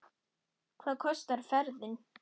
Hvað kostar ferðin?